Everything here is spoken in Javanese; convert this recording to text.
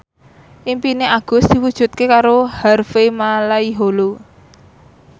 impine Agus diwujudke karo Harvey Malaiholo